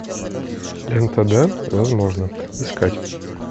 лента да возможно искать